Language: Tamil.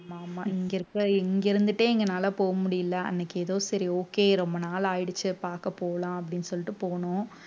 ஆமா ஆமா இங்க இருக்க இங்க இருந்துட்டே எங்கனால போக முடியல அன்னைக்கு ஏதோ சரி okay ரொம்ப நாள் ஆயிடுச்சு பாக்க போலாம் அப்படின்னு சொல்லிட்டு போனோம்